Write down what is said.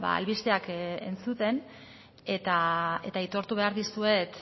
albisteak entzuten eta aitortu behar dizuet